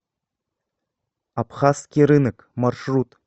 абхазский рынок маршрут